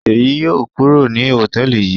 Ṣèyí yóò kúrò ní hòtẹ́ẹ́lì yìí